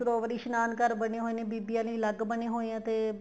ਸਰੋਵਰ ਇਸ਼ਨਾਨ ਘਰ ਬਣੇ ਹੋਏ ਹੈ ਬੀਬੀਆਂ ਲਈ ਅਲੱਗ ਬਣੇ ਹੋਏ ਹੈ ਤੇ